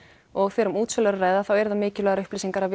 og þegar um útsölu er að ræða eru það mikilvægar upplýsingar að